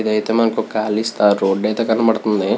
ఇక్కడ అయతె మనకి కాళీ రోడ్ అయతె కనబడుతుంది.